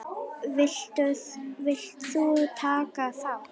Vilt þú taka þátt?